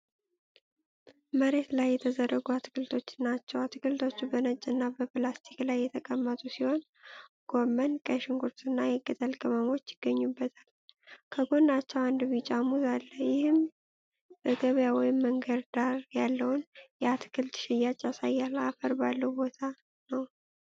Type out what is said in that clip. መሬት ላይ የተዘረጉ አትክልቶችን ናቸው። አትክልቶቹ በነጭና በፕላስቲክ ላይ የተቀመጡ ሲሆን ጎመን፣ ቀይ ሽንኩርትና የቅጠል ቅመሞች ይገኙበታል። ከጎናቸው አንድ ቢጫ ሙዝ አለ። ይህም በገበያ ወይም መንገድ ዳር ያለውን የአትክልት ሽያጭ ያሳያል። አፈር ባለው ቦታ ነው።